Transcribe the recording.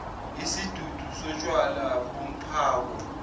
isidudu sotshwala bomphako